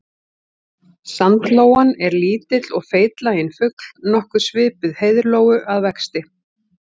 Sandlóan er lítill og feitlaginn fugl nokkuð svipuð heiðlóu að vexti.